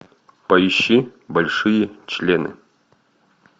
поищи большие члены